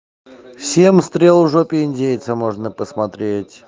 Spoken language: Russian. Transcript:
семь стрел в жопе индейца можно посмотреть